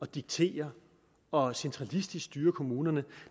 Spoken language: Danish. diktere og centralistisk styre kommunerne